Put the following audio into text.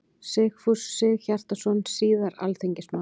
Sigfús Sigurhjartarson, síðar alþingismaður.